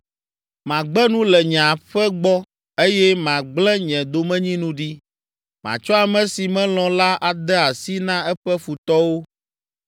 “Magbe nu le nye aƒe gbɔ eye magble nye domenyinu ɖi. Matsɔ ame si melɔ̃ la ade asi na eƒe futɔwo.